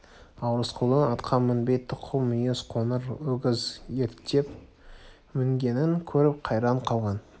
ал рысқұлдың атқа мінбей тұқыл мүйіз қоңыр өгіз ерттеп мінгенін көріп қайран қалған